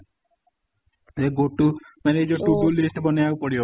ମାନେ ଏଇ ଗୋଟେ ବନେଇବାକୁ ପଡିବ ପୁରା